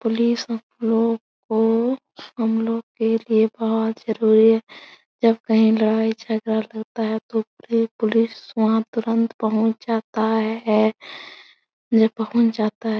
Police हमलोग कोहमलोगो के लिए बोहोत जरूरी है जब कहीं लड़ाई झगड़ा लगता है तो पुलिस वहाँ तुरंत पहुँच जाता है या पहुँच जाता है।